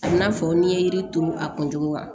A n'a fɔ n'i ye yiri turu a kun cogo la